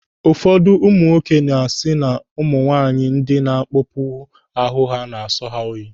Ụfọdụ ụmụ nwoke na-asị na ụmụ nwaanyị ndị na-akpọpu ahụ na-asọ ha oyi.